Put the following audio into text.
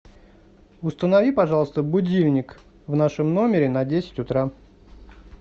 установи пожалуйста будильник в нашем номере на десять утра